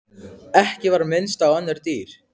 Ekki var minnst á önnur dýr.